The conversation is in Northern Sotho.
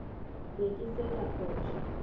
be ke se ka phoša